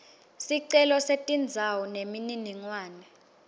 sicelo setindzawo temininingwane